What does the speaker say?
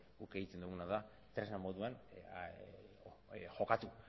guk egiten duguna da tresna moduan jokatu